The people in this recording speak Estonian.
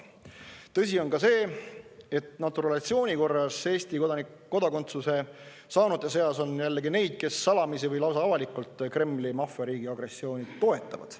Tõsi on ka see, et naturalisatsiooni korras Eesti kodakondsuse saanute seas on jällegi neid, kes salamisi või lausa avalikult Kremli maffiariigi agressiooni toetavad.